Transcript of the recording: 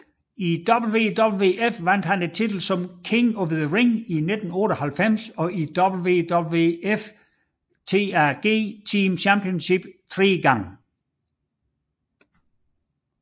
I WWF vandt han titlen som King of the Ring i 1988 og WWF Tag Team Championship tre gange